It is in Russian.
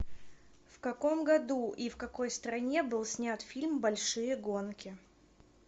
в каком году и в какой стране был снят фильм большие гонки